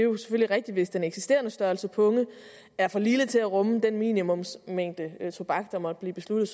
rigtigt hvis den eksisterende størrelse punge er for lille til at rumme den minimumsmængde tobak der måtte blive besluttet